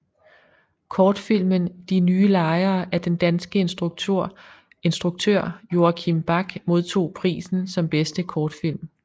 Kortfilmen De nye lejere af den danske instruktør Joachim Back modtog prisen som bedste kortfilm